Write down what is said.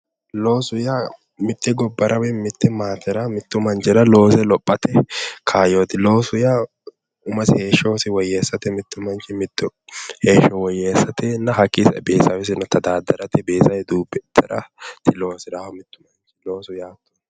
Loosu yaa mitte gobbara woyi mitte maatera woyi manchira loose lophate kaayyooti ,loosu yaa umosi heeshshosi woyyeessate hakkii sae beetisawesi tadaaddarate beetisewesi duubbe ittaraati loosirannohu, loosu yaa.